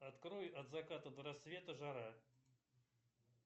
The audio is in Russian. открой от заката до рассвета жара